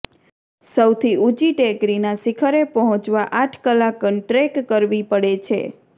સૌથી ઉંચી ટેકરીના શિખરે પહોંચવા આઠ કલાકન ટ્રેક કરવી પડે છે